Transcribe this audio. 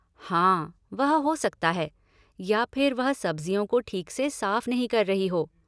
हाँ, वह हो सकता है या फिर वह सब्ज़ियों को ठीक से साफ नहीं कर रही हो।